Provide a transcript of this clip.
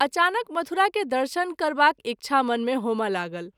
अचानक मथुरा के दर्शन करबाक इच्छा मन मे होमए लागल।